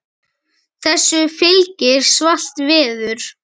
Þessu fylgir svalt veður.